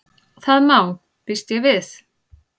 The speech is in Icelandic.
Það má.- býst ég við.